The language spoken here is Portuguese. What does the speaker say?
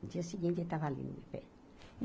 No dia seguinte, ele estava ali no meu pé.